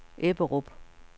Ebberup